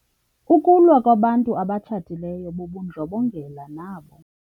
Ukulwa kwabantu abatshatileyo bubundlobongela nabo.